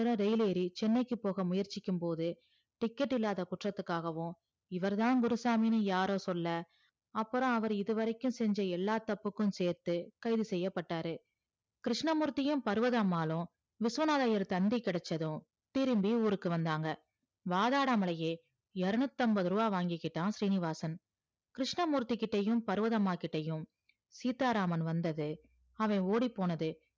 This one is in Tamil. விஸ்வநாதர் ஐயர் தந்தி கெடச்சதும் திரும்பி ஊருக்கு வந்தாங்க வாதாடமலே இரேனுத்தி ஐம்பது ரூபாய் வங்கி கிட்டா சீனிவாசன் கிருஸ்னமூர்த்தி பருவதாம்ம்மாகிட்டயும் சீத்தாராமன் வந்தது அவன் ஓடி போனது